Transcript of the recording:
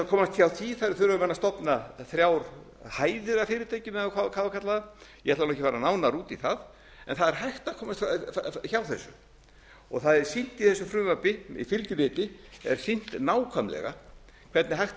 komast hjá því þurfa menn að stofna þrjár hæðir af fyrirtækjum eða hvað á að kalla það ég ætla nú ekki að fara nánar út í það en það er hægt að komast hjá þessu það er sýnt í þessu frumvarpi í fylgiriti er sýnt nákvæmlega hvernig hægt